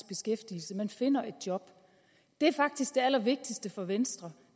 beskæftigelse man finder et job det er faktisk det allervigtigste for venstre